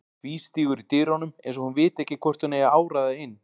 Tvístígur í dyrunum eins og hún viti ekki hvort hún eigi að áræða inn.